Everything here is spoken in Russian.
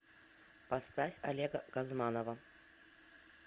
поставь олега газманова